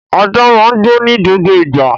Ajá máa ń gbó ní gbogbo ìgbà